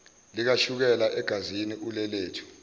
likashukela egazini ulelethu